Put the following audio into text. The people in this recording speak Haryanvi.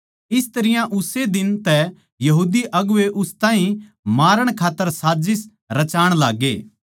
इस तरियां उस्से दिन तै यहूदी अगुवें उस ताहीं मारण खात्तर साजिस रचाण लाग्गे